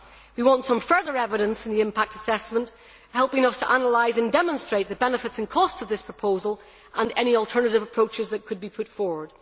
We want some further evidence in the impact assessment to help us analyse and demonstrate the benefits and costs of this proposal and any alternative approaches that could be put forward.